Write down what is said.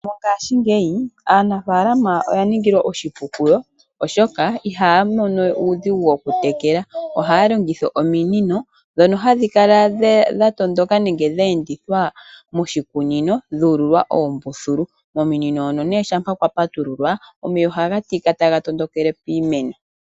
Mongashingeyi aanafalama oya ningilwa oshipu kuyo, oshoka ihaya mono we uudhigu wokutekela, ohaya longitha ominino dhoka hadhi kala dha tondoka nenge dha endithwa moshikunino dhuululwa oombululu, kominino hono shampa kwa patululwa, omeya oha ga tika taga tondokele piimeno.